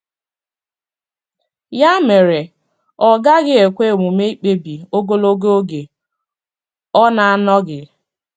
Ya mere, ọ gaghị ekwe omume ikpebi ogologo oge ọ na-anọghị.